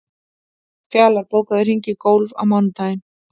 Fjalar, bókaðu hring í golf á mánudaginn.